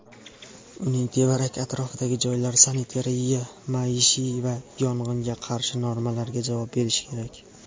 uning tevarak-atrofidagi joylar sanitariya-maishiy va yong‘inga qarshi normalarga javob berishi kerak.